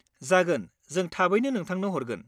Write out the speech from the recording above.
जागोन, जों थाबैनो नोंथांनो हरगोन।